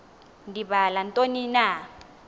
ndibala ntoni na